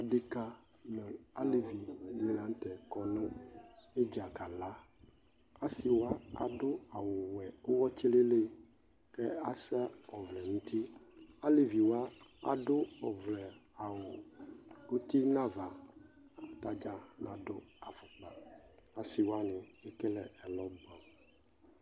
Ɩɖeka nu alevi ɖɩ la nutɛ kɔ nu ɩdza kala Asɩ wa ɖu awu wɛ uwɔ tselelẹ kasa ɔvlɛ nutɩ Alevi wa aɖu ɔvlɛ-awu utɩ nava, tadza naɖu afukpa Asɩ wanɩ ekele ɛlɔ buɛ